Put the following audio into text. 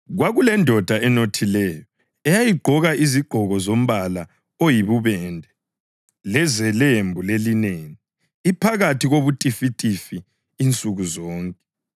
“Kwakulendoda enothileyo eyayigqoka izigqoko zombala oyibubende lezelembu lelineni, iphakathi kobutifitifi insuku zonke.